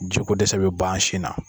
Jiko dɛsɛ be ban sin na